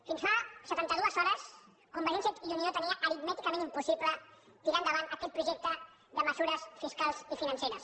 fins fa setanta dues hores convergència i unió tenia aritmèticament impossible tirar endavant aquest projecte de mesures fiscals i financeres